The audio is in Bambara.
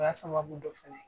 O y'a sababu dɔ fɛnɛ ye.